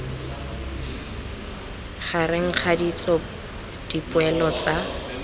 gareg ga ditso dipoelo tsa